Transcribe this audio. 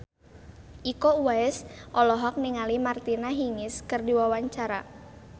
Iko Uwais olohok ningali Martina Hingis keur diwawancara